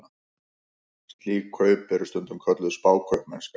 Slík kaup eru stundum kölluð spákaupmennska.